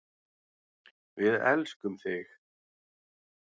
Við elskum þig.